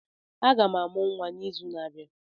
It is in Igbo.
M ga-amụ nwa n'izu na-abịa.